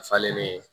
Nafa le be